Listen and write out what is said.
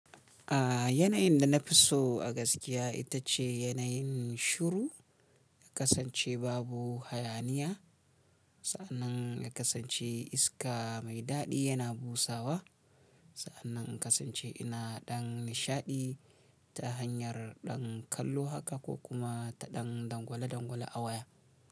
A yanayin da na fi so a gaskiya ita ce yanayin shiru, ka kasance babu hayaniya. Sa'annan ka kasance iska mai daɗi yana busawa. Sa'annan ka kasance ina ɗan nishaɗi ta hanyar ɗan kallo haka ko kuma ta ɗan dangwale-dangwale a waya.